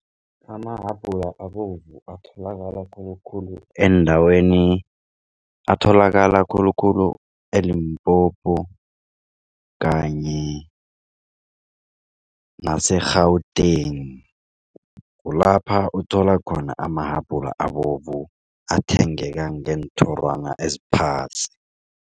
Amahabhula abovu atholakala khulukhulu eendaweni atholakala khulukhulu e-Limpopo kanye naseGauteng. Kulapha uthola khona amahabhula abovu athengeka ngeenthorwana eziphasi.